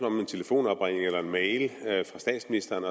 om en telefonopringning eller en mail fra statsministeren